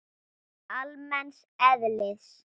almenns eðlis.